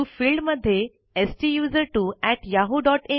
TO field मध्ये STUSERTWOyahoo